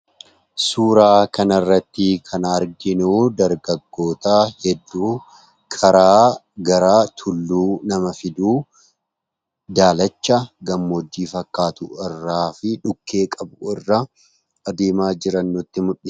Suuraa kanarratti kan arginu dargaggoota hedduu karaa gara tulluu nama fidu, daalacha gammoojjii fakkaatu irraa fi dhukkee qabu irra adeemaa jiran nutti mul'isa.